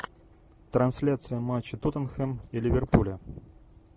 трансляция матча тоттенхэм и ливерпуля